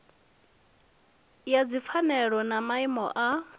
ya dzipfanelo na maimo a